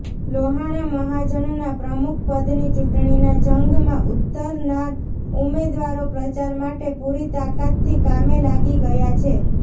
લોહાણા મહાજનના પ્રમુખપદની ચૂંટણીના જંગમાં ઉતરનાર ઉમેદવારો પ્રચાર માટે પૂરી તાકાતથી કામે લાગી ગયા છે